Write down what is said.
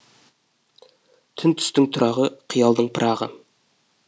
түн түстің тұрағы қиялдың пырағы